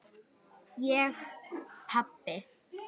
Ég pabbi!